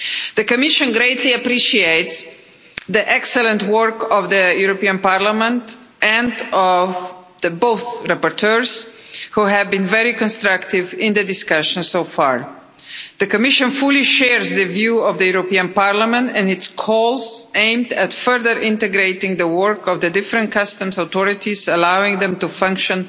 The Commission greatly appreciates the excellent work of the European Parliament and both rapporteurs, who have been very constructive in the discussion so far. The Commission fully shares the view of the European Parliament and its calls aimed at further integrating the work of the different customs authorities, allowing them to function